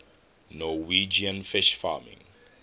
norwegian fish farming